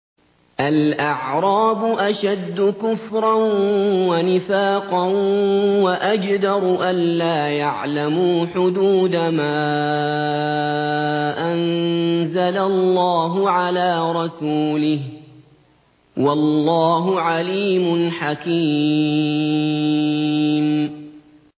الْأَعْرَابُ أَشَدُّ كُفْرًا وَنِفَاقًا وَأَجْدَرُ أَلَّا يَعْلَمُوا حُدُودَ مَا أَنزَلَ اللَّهُ عَلَىٰ رَسُولِهِ ۗ وَاللَّهُ عَلِيمٌ حَكِيمٌ